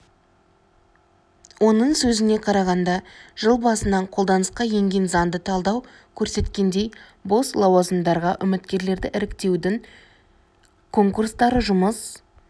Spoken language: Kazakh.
оның сөзіне қарағанда жыл басынан қолданысқа енген заңды талдау көрсеткендей бос лауазымдарға үміткерлерді іріктеутің конкурстары жұмыс